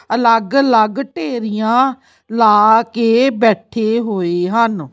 ਅਲੱਗ ਅਲੱਗ ਢੇਰੀਆਂ ਲਾ ਕੇ ਬੈਠੇ ਹੋਏ ਹਨ।